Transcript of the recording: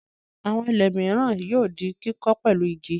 Àwọn ilé mìíràn yóò di kíkọ́ pẹ̀lú igi.